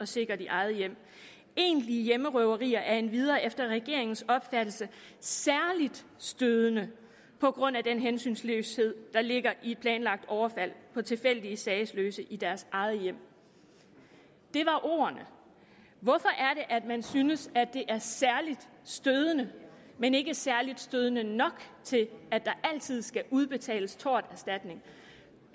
sit eget hjem egentlige hjemmerøverier er endvidere efter regeringens opfattelse særlig stødende på grund af den hensynsløshed der ligger i et planlagt overfald på tilfældige sagesløse i deres eget hjem det var ordene hvorfor at man synes at det er særlig stødende men ikke særlig stødende nok til at der altid skal udbetales torterstatning